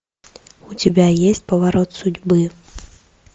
у тебя есть поворот судьбы